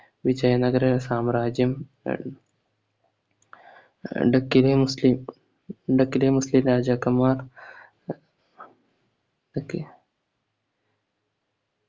വിജയനഗര സാമ്രാജ്യം ആഹ് ഡക്കിരി മുസ്ലിം ഡക്കിലെ മുസ്ലിം രാജാക്കന്മാർ